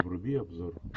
вруби обзор